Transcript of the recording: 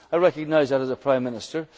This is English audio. as a politician. I recognise that